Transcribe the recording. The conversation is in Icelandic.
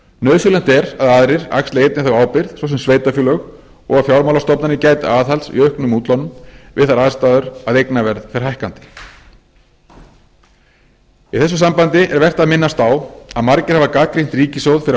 nauðsynlegt er að aðrir axli einnig þá ábyrgð svo sem sveitarfélög og að fjármálastofnanir gæti aðhalds í aukningu útlána við þær aðstæður að eignaverð fer hækkandi í þessu sambandi er vert að minnast á að margir hafa gagnrýnt ríkissjóð fyrir að